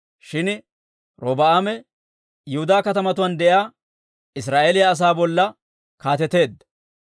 Shin Robi'aame Yihudaa katamatuwaan de'iyaa Israa'eeliyaa asaa bolla kaateteedda.